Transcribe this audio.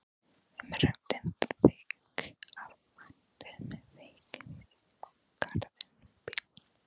Röddin þykk af væntumþykju í garð bílsins.